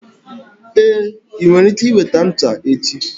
Ee, ị nwere ike weta ncha echi.